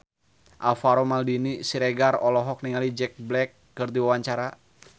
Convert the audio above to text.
Alvaro Maldini Siregar olohok ningali Jack Black keur diwawancara